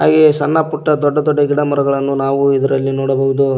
ಹಾಗೆ ಸಣ್ಣ ಪುಟ್ಟ ದೊಡ್ಡ ದೊಡ್ಡ ಗಿಡಮರಗಳನ್ನು ನಾವು ಇದರಲ್ಲಿ ನೋಡಬಹುದು.